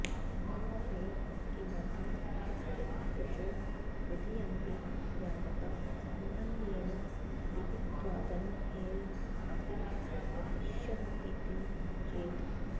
नन्वर्हे किमर्थं कृत्यतृचो विधीयन्ते यावता सामान्येन विहितत्वादनर्हेऽपि भविष्यन्तीति चेत्